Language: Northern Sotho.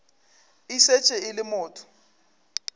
e šetše e le motho